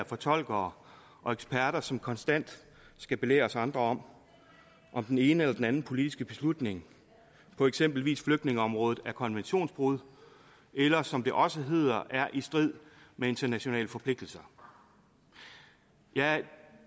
fortolkere og eksperter som konstant skal belære os andre om om den ene eller den anden politiske beslutning på eksempelvis flygtningeområdet er konventionsbrud eller som det også hedder er i strid med internationale forpligtelser jeg